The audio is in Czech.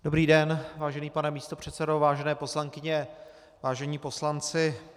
Dobrý den, vážený pane místopředsedo, vážené poslankyně, vážení poslanci.